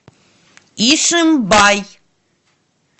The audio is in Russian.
ишимбай